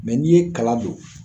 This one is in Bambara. n'i ye kala don